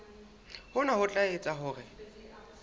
hona ho tla etsa hore